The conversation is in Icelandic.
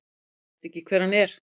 Ég veit ekki hver hann er.